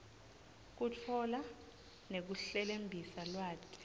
kutfola nekuhlelembisa lwati